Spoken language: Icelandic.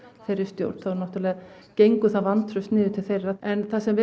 þeirri stjórn þá náttúrulega gengur það vantraust niður til þeirra en það sem